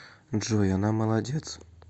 джой она молодец